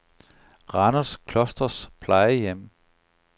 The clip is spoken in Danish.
Randers Klosters Plejehjem